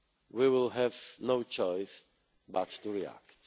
the EU, we will have no choice but to react.